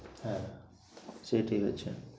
হ্যাঁ সে ঠিক আছে।